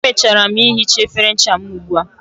Emechara m ihicha efere ncha m ugbua